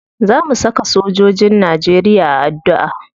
Za mu saka sojojin najeriya a addu'a.